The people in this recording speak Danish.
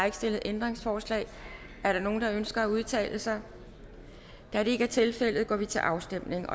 ikke stillet ændringsforslag er der nogen der ønsker at udtale sig da det ikke er tilfældet går vi til afstemning